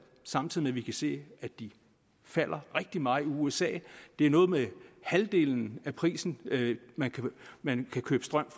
samtidig med at vi kan se at de falder rigtig meget i usa det er noget med halvdelen af prisen man kan man kan købe strøm